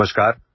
audio